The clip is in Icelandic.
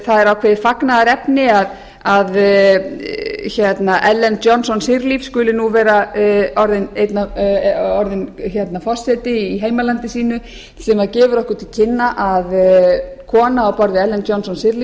það hér að það er ákveðið fagnaðarefni að ellen johnson skuli nú vera orðinn forseti í heimalandi sínu sem gefur okkur til kynna að kona á borð við ellen johnson